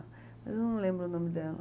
Mas eu não lembro o nome dela.